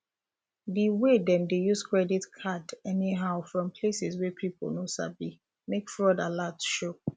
the way them dey use credit card um anyhow fron places wey people no sabi make fraud alert show